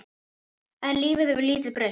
En lífið hefur lítið breyst.